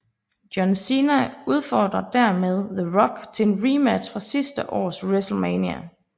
John Cena udfordrer dermed The Rock til en rematch fra sidste års WrestleMania